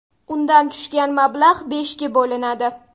Undan tushgan mablag‘ beshga bo‘linadi.